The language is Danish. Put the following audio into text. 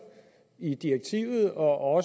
i direktivet og